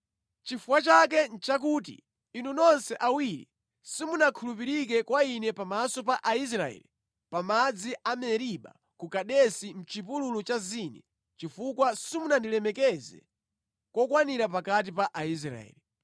Chifukwa chake nʼchakuti inu nonse awiri simunakhulupirike kwa Ine pamaso pa Aisraeli pa madzi a Meriba ku Kadesi mʼchipululu cha Zini chifukwa simunandilemekeze kokwanira pakati pa Aisraeli.